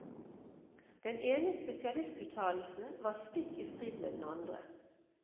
Den ene spesialistuttalelsen var stikk i strid med den andre.